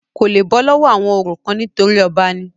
kò le bọ́ lọ́wọ́ àwọn orò kan nítorí ọba ni